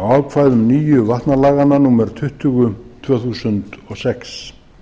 á ákvæðum nýju vatnalaganna númer tuttugu tvö þúsund og sex